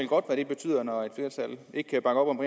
godt hvad det betyder når et flertal ikke kan bakke op om